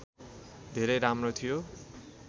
धेरै राम्रो थियो